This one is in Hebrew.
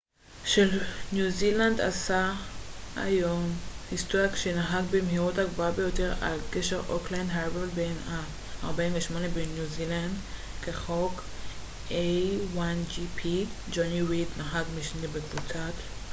ג'וני ריד נהג משנה בקבוצת a1gp של ניו זילנד עשה היום היסטוריה כשנהג במהירות הגבוהה ביותר על גשר אוקלנד הארבור בן ה-48 בניו זילנד כחוק